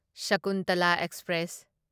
Shakuntala express